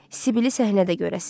Sibili səhnədə görəsiz.